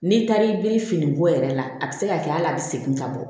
N'i taar'i biri finiko yɛrɛ la a bɛ se ka kɛ hali a bɛ segin ka bɔ